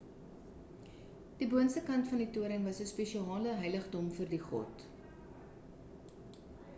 die boonste kant van die toring was spesiale heiligdom vir die god